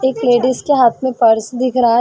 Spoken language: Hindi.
एक लेडिस के हाथ में पर्स दिख रहा हे।